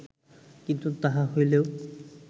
কিন্তু তাহা হইলেও